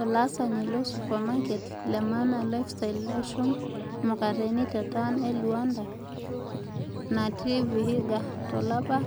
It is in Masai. Olaasani lo supamaket le Maana Lifestyle e shum mukateni te taon e Launda natii Vihiga to lapa